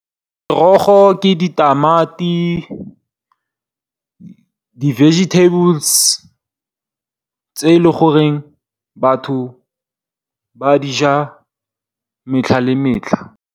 Merogo ke ditamati, di vegetables tse e le goreng batho ba dija metlha le metlha.